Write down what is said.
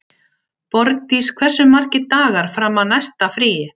Borgdís, hversu margir dagar fram að næsta fríi?